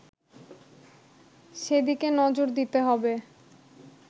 সেদিকে নজর দিতে হবে